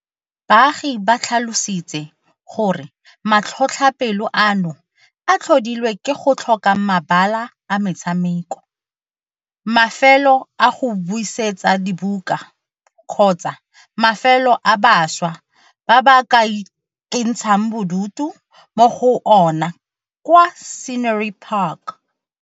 Baagi ba tlhalositse gore matlhotlhapelo ano a tlhodilwe ke go tlhoka mabala a metshameko, mafelo a go buisetsa dibuka kgotsa mafelo a bašwa ba ka ikentshang bodutu mo go ona kwa Scenery Park.